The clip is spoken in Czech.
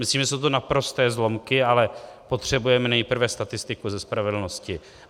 Myslím, že jsou to naprosté zlomky, ale potřebujeme nejprve statistiku ze spravedlnosti.